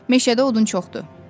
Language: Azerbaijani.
Meşədə odun çoxdur.